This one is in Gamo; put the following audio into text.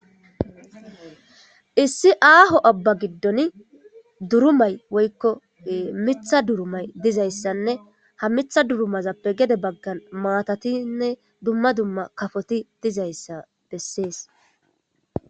Issi aaho abba giddon durumay woykko mitha durumay dizayssanne ha mitha durumazappe gede baggan maatatinne dumma dumma kafoti dizayssa bessees.